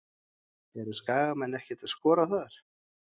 Eru Skagamenn ekkert að skoða þar?